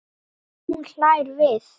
Hún hlær við.